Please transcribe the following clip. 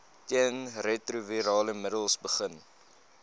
teenretrovirale middels begin